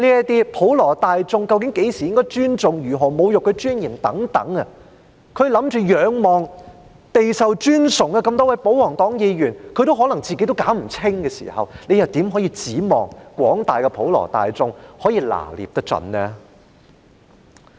對於普羅大眾究竟何時應該尊重，如何會構成侮辱其尊嚴等問題，備受尊崇的多位保皇黨議員也可能搞不清楚的時候，你們又怎能指望廣大的普羅大眾可以拿捏得準呢？